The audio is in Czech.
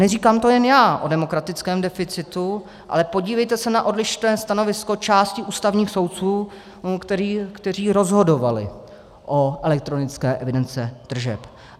Neříkám to jen já o demokratickém deficitu, ale podívejte se na odlišné stanovisko části ústavních soudců, kteří rozhodovali o elektronické evidenci tržeb.